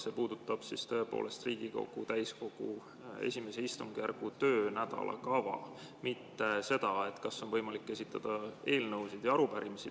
See puudutab Riigikogu täiskogu I istungjärgu töönädala kava, mitte seda, kas on võimalik esitada eelnõusid ja arupärimisi.